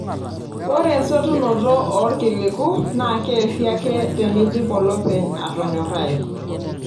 Ore esotunoto oolkiliku naa keesi ake teneidip olopeny atonyorrai.